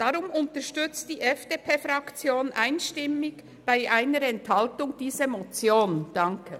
Deshalb unterstützt die FDP-Fraktion diese Motion einstimmig bei einer Enthaltung, danke.